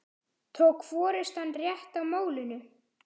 Tók forystan rétt á málinu?